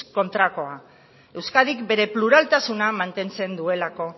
kontrakoa euskadik bere pluraltasuna mantentzen duelako